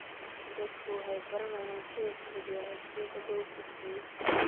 Dadku waxay baranayaan sida fudud ee codsiyada loo gudbiyo.